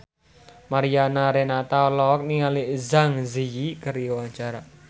Mariana Renata olohok ningali Zang Zi Yi keur diwawancara